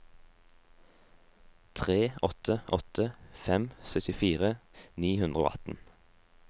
tre åtte åtte fem syttifire ni hundre og atten